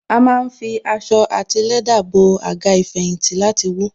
A má ń fi aṣọ àti lẹ́dà bo Àga ìfẹ̀yìntì láti wú